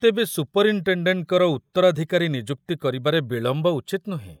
ତେବେ ସୁପରଇନ୍‌ଟେଣ୍ଡେଣ୍ଟଙ୍କର ଉତ୍ତରାଧିକାରୀ ନିଯୁକ୍ତି କରିବାରେ ବିଳମ୍ବ ଉଚିତ୍ ନୁହେଁ।